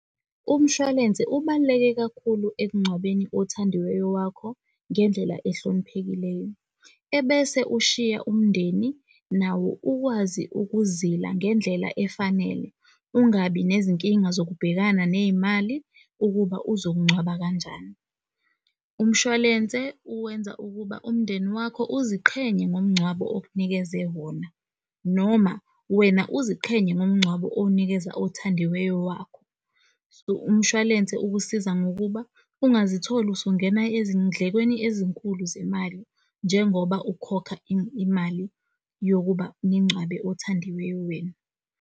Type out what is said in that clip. Umshwalense ubaluleke kakhulu ekungcwabeni othandiweyo wakho ngendlela ehloniphekileyo. Ebese ushiya umndeni nawo ukwazi ukuzila ngendlela efanele. Ungabi nezinkinga zokubhekana ney'mali ukuba uzokungcwaba kanjani. Umshwalense uwenza ukuba umndeni wakho uziqhenye ngomngcwabo okunikeze wona, noma wena uziqhenye ngomngcwabo owunikeza othandiweyo wakho. Umshwalense ukusiza. Ngokuba ungazitholi usungena ezindlekweni ezinkulu zemali njengoba ukhokha imali yokuba ningcwabe othandiweyo wenu.